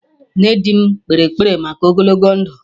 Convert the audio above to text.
Nne di m kpere ekpere maka ogologo ndụ